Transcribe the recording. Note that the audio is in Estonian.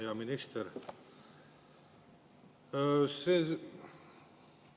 Hea minister!